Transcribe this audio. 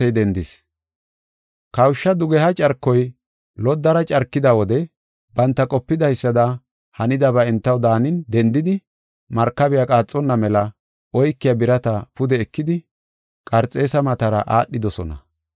Kawusha dugeha carkoy loddara carkida wode banta qopidaysada hanidaba entaw daanin dendidi, markabey qaaxonna mela oykiya birata pude ekidi Qarxeesa matara aadhidosona.